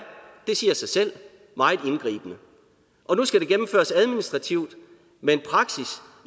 det siger sig selv meget indgribende og nu skal det gennemføres administrativt med en